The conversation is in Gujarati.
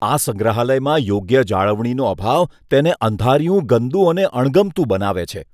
આ સંગ્રહાલયમાં યોગ્ય જાળવણીનો અભાવ તેને અંધારિયું, ગંદુ અને અણગમતું બનાવે છે.